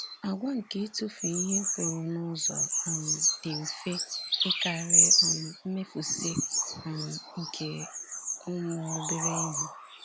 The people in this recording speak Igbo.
Àgwà nke ịtụfu ihe pụrụ n’ụzọ um dị mfe ịkarị um mmefusị um nke ụmụ obere ihe.